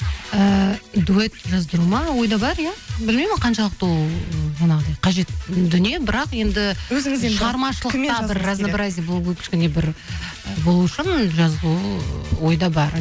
ііі дуэт жаздыру ма ойда бар иә білмеймін ол қаншалықты ол жаңағыдай қажет дүние бірақ енді шығармашылықта бір разнобразия болу керек кішкене бір болу үшін жазылу ы ойда бар